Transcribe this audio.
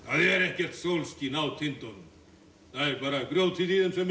er ekkert sólskin á tindunum það er bara grjótið í þeim sem